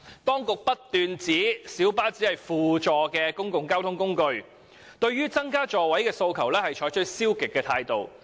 當局不斷指小巴只是輔助的公共交通工具，因此，對於增加座位的訴求採取消極的態度。